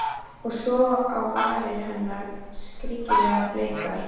Og svo á varir hennar, skringilega bleikar.